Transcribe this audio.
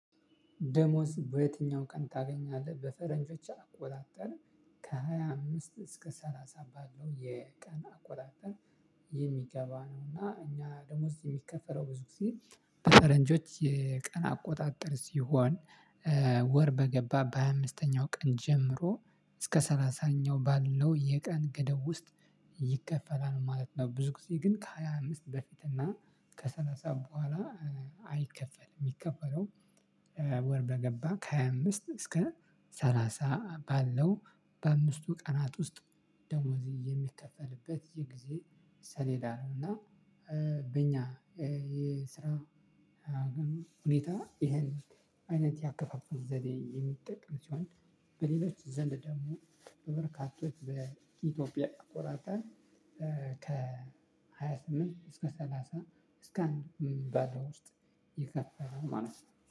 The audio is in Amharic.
ደሞዝ በዬትኛው ቀን ታገኛለህ? በፈረንጆች አቆጣጠር ከሃያ አምስት እስከ ሰላሳ ባለው የቀን አቆጣጠር የሚገባ ነውና እኛ ደሞዝ የሚከፈለው ብዙ ጊዜ በፈረንጆች የቀን አቆጣጠር ሲሆን ወር በገባ በሃያ አምስተኛው ቀን ጀምሮ እስከ ሰላሳኛው ባለው የቀን ገደብ ውስጥ ይከፈላል ማለት ነው። ብዙ ጊዜ ግን ከሃያ አምስት በፊት እና ከሰላሳ በኋላ አይከፈልም። የሚከፈለው ወር በገባ ከሃያ አምስት እስከ ሰላሳ ባለው በአምስቱ ቀናት ውስጥ ደሞዝ የሚከፈልበት የጊዜ ሰሌዳ ነው። እና በእኛ የስራ ሁኔታ ይሄን አይነት ያከፋፈል ዘዴ የሚጠቀም ሲሆን በሌሎች ዘንድ ደግሞ በበርካቶች በኢትዮጵያ አቆጣጠር ከሃያ ስምንት እስከ ሰላሳ እስከ አንድም ባለው ውስጥ ይከፈላል ማለት ነው